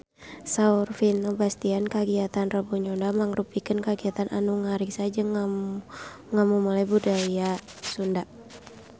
Saur Vino Bastian kagiatan Rebo Nyunda mangrupikeun kagiatan anu ngariksa jeung ngamumule budaya Sunda